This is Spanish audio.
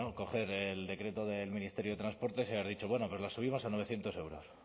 coger el decreto del ministerio de transportes y haber dicho bueno pero la subimos a novecientos euros